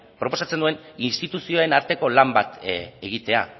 proposatzen duen instituzioen arteko lan bat egitea